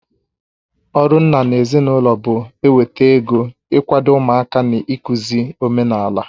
Ọrụ nna n'ezinụlọ bụ eweta ego, ị kwado ụmụaka na ịkụzi omenaala.